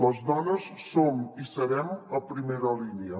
les do·nes som i serem a primera línia